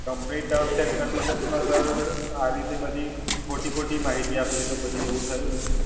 Company Terms and Conditions માં Sir આ રીતે બધી ખોટી ખોટી માહિતી આવી છે, તો પછી એવું થયું ને?